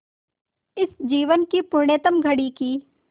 इस जीवन की पुण्यतम घड़ी की स्